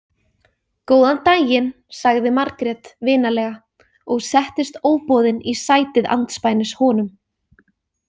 Góðan daginn, sagði Margrét vinalega og settist óboðin í sætið andspænis honum.